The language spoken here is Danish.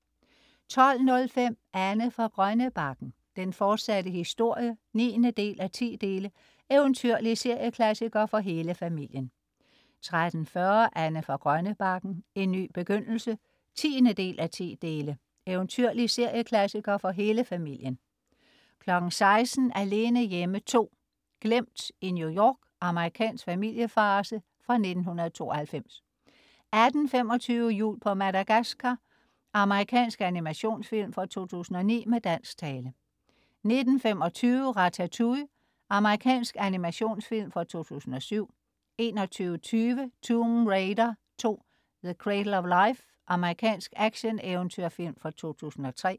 12.05 Anne fra Grønnebakken, den fortsatte historie 9:10. Eventyrlig serieklassiker for hele familien 13.40 Anne fra Grønnebakken. En ny begyndelse 10:10. Eventyrlig serieklassiker for hele familien 16.00 Alene hjemme 2. Glemt i New York. Amerikansk familiefarce fra 1992 18.25 Jul på Madagaskar. Amerikansk animationsfilm fra 2009 med dansk tale 19.25 Ratatouille. Amerikansk animationsfilm fra 2007 21.20 Tomb Raider 2: The Cradle of Life. Amerikansk actioneventyrfilm fra 2003